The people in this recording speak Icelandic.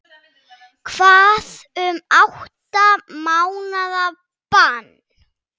Hvað um átta mánaða bann?